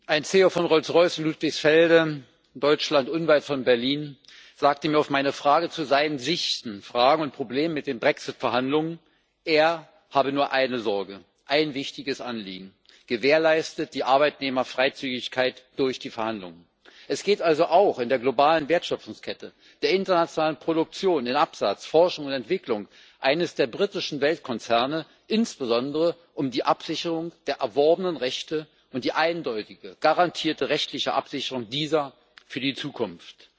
Ein CEO von Rolls Royce in Ludwigsfelde in Deutschland, unweit von Berlin, sagte mir auf meine Frage zu seinen Sichten, Fragen und Problemen mit den Brexit Verhandlungen Er habe nur eine Sorge, ein wichtiges Anliegen Gewährleistet die Arbeitnehmerfreizügigkeit durch die Verhandlungen! Es geht also auch in der globalen Wertschöpfungskette, der internationalen Produktion, in Absatz, Forschung und Entwicklung eines der britischen Weltkonzerne insbesondere um die Absicherung der erworbenen Rechte und die eindeutige, garantierte rechtliche Absicherung dieser für die Zukunft.